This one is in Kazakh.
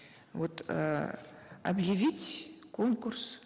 вот э объявить конкурс